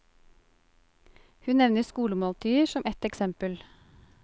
Hun nevner skolemåltider som ett eksempel.